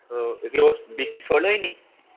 ও শুনেইনি?